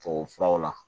Tubabufuraw la